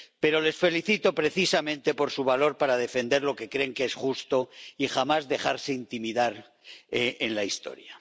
pero les felicito precisamente por su valor para defender lo que creen que es justo y jamás dejarse intimidar en la historia.